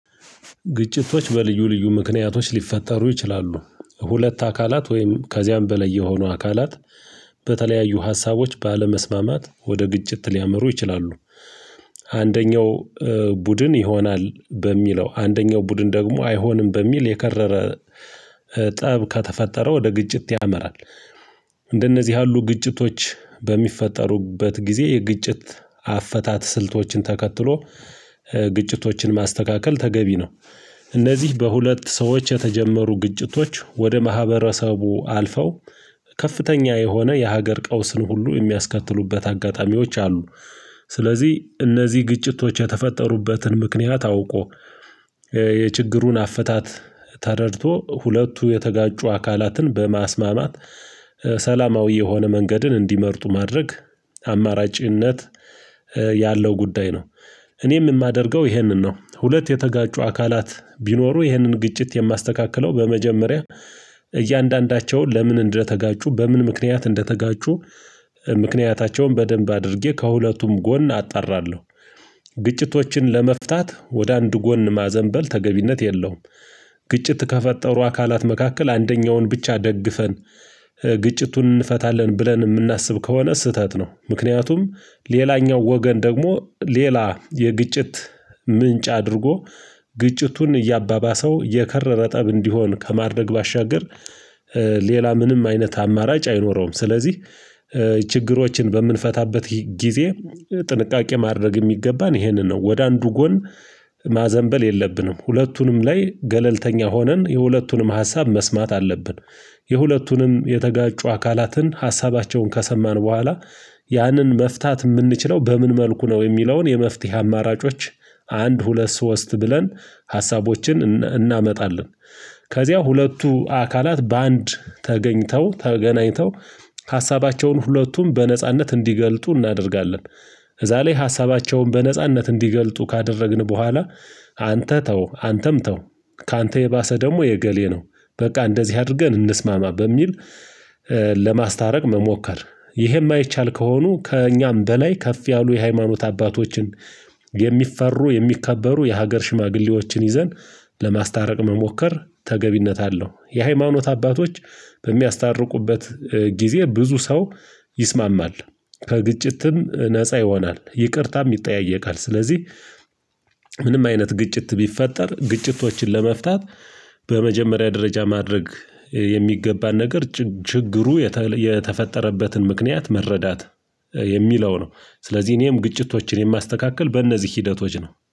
ግጭቶች በልዩ ልዩ ምክንያቶች ሊፈጠሩ ይችላሉ ሁለት አካላት ወይም ከዚያም በላይ የሆኑ አካላት በተለያዩ ሀሳቦች ባለመስማማት ወደ ግጭት ሊያመሩ ይችላሉ። አንደኛው ቡድን ይሆናል በሚለው አንደኛው ቡድን ደግሞ አይሆንም በሚል የከረረ ጠብ ከተፈጠረ ወደ ግጭት ያመራል። እንደነዚህ ያሉ ግጭቶች በሚፈጠሩበት ጊዜ የግጭት አፈታት ስልቶችን ተከትሎ ግጭቶችን ማስተካከል ተገቢ ነው። እነዚህ በሁለት ሰዎች የተጀመሩ ግጭቶች ወደ ማህበረሰቡ አልፈው ከፍተኛ የሆነ የሀገር ቀውስን ሁሉ የሚያስከትሉበት አጋጣሚዎች አሉ። ስለዚህ እነዚህ ግጭቶች የተፈጠሩበትን ምክንያት አውቆ የችግሩን አፈታት ተረድቶ ሁለቱ የተጋጩ አካላትን በማስማማት ሰላማዊ የሆነ መንገድን እንዲመርጡ ማድረግ አማራጭነት ያለው ጉዳይ ነው። እኔም የማደርገው ይሄንን ነው። ሁለት የተጋጩ አካላት ቢኖሩ ይህንን ግጭት የማስተካክለው በመጀመሪያ እያንዳንዳቸውን ለምን እንደተጋጩ በምን ምክንያት እንደተጋጩ ምክንያታቸውን በደንብ አድርጌ ከሁለቱም ጎን አጣራለሁ። ግጭቶችን ለመፍታት ወደ አንድ ጎን ማዘንበል ተገቢነት የለውም። ግጭት ከፈጠሩ አካላት መካከል አንደኛውን ብቻ ደግፈን ግጭቱን እንፈታለን ብለን የምናስብ ከሆነ ስህተት ነው። ምክንያቱም ሌላኛው ወገን ደግሞ ሌላ የግጭት ምንጭ አድርጎ ግጭቱን እያባባሰው የከረረ ጠብ እንዲሆን ከማድረግ ባሻገር ሌላ ምንም አይነት አማራጭ አይኖረውም። ስለዚህ ችግሮችን በምንፈታበት ጊዜ ጥንቃቄ ማድረግ የሚገባን ይሄንን ነው። ወደ አንዱ ጎን ማዘንበል የለብንም ሁለቱንም ላይ ገለልተኛ ሆነን የሁለቱንም ሀሳብ መስማት አለብን። የሁለቱንም የተጋጩ አካላትን ሀሳባቸውን ከሰማን በኋላ ያንን መፍታት የምንችለው በምን መልኩ ነው? የሚለውን የመፍትሄ አማራጮች አንድ ሁለት ሶስት ብለን ሀሳቦችን እናመጣለን። ከዚያ ሁለቱ አካላት በአንድ ተገኝተው ተገናኝተው ሀሳባቸውን ሁለቱም በነጻነት እንዲገልጡ እናደርጋለን። ከዛ ላይ ሀሳባቸውን በነጻነት እንዲገልጡ ካደረግን በኋላ አንተ ተው አንተም ተው። ካንተ የባሰ ደግሞ የእገሌ ነው። በቃ እንደዚህ አድርገን እንስማማ በሚል ለማስታረቅ መሞከር ይሄ የማይቻል ከሆኑ ከእኛም በላይ ከፍ ያሉ የሃይማኖት አባቶችን የሚፈሩ የሚከበሩ የሀገር ሽማግሌዎችን ይዘን ለማስታረቅ መሞከር ተገቢነት አለው። የሃይማኖት አባቶች በሚያስታርቁበት ጊዜ ብዙ ሰው ይስማማል ከግጭትም ነፃ ይሆናል ይቅርታም ይጠያየቃል። ስለዚህ ምንም አይነት ግጭት ቢፈጠር ግጭቶችን ለመፍታት በመጀመሪያ ደረጃ ማድረግ የሚገባን ነገር ችግሩ የተፈጠረበትን ምክንያት መረዳት የሚለው ነው። ስለዚህ እኔም ግጭቶችን የማስተካክል በእነዚህ ሂደቶች ነው